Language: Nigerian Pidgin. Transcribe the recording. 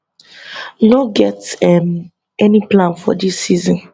no get um any plan for am dis season